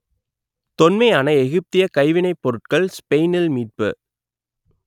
தொன்மையான எகிப்தியக் கைவினைப் பொருட்கள் ஸ்பெயினில் மீட்பு